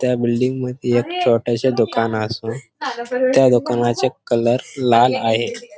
त्या बिल्डिंग मध्ये एक छोटेसे दुकान असून त्या दुकानाचे कलर लाल आहे.